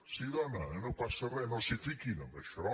sí dona no passa re no s’hi fiquin en això